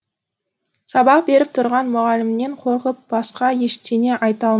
сабақ беріп тұрған мұғалімнен қорқып басқа ештеңе айта